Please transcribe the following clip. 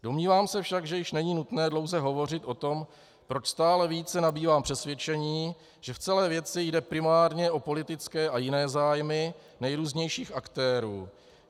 Domnívám se však, že již není nutné dlouze hovořit o tom, proč stále více nabývám přesvědčení, že v celé věci jde primárně o politické a jiné zájmy nejrůznějších aktérů.